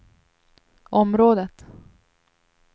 området